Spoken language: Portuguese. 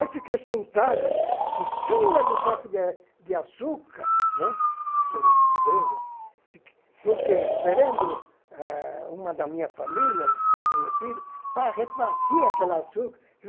Aí fiquei sentado em cima do saco de de açúcar, né, aquele grande, fiquei porque esperando ah uma da minha família, conhecida, para repartir aquela açúcar.